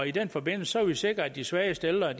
i den forbindelse har vi sikret at de svageste ældre